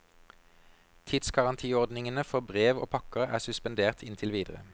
Tidsgarantiordningene for brev og pakker er suspendert inntil videre.